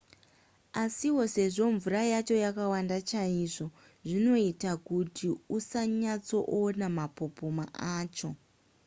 asiwo sezvo mvura yacho yakawanda chaizvo zvinoita kuti usanyatsoona mapopoma acho